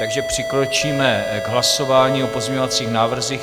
Takže přikročíme k hlasování o pozměňovacích návrzích.